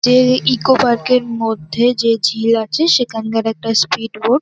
যে-এ eco park -এর মধ্যে যে ঝিল আছে সেখানকার একটা স্পিড বোট ।